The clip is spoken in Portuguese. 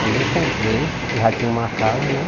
Aí eu comprei, já tinha uma casa, né?